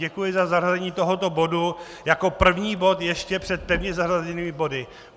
Děkuji za zařazení tohoto bodu jako první bod ještě před pevně zařazenými body.